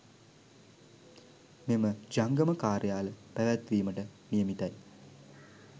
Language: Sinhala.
මෙම ජංගම කාර්යාල පැවැත්වීමට නියමිතයි